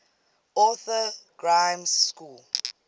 arthur grimes school